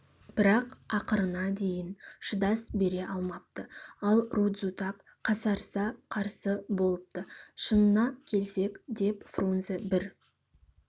бірақ ақырына дейін шыдас бере алмапты ал рудзутак қасарыса қарсы болыпты шынына келсек деп фрунзе бір